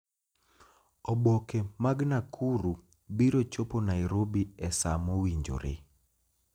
Oboke mag Nakuru biro chopo Nairobi e saa mowinjore